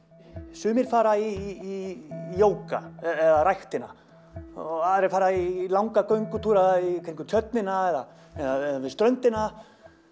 sumir fara í jóga eða ræktina aðrir fara í langa göngutúra kringum tjörnina eða eða við ströndina